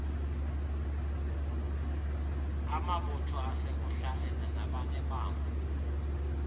amabutho asekuhlaleni nabanebango